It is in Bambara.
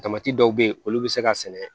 Tamati dɔw be yen olu bi se ka sɛnɛ